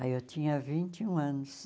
Aí eu tinha vinte e um anos.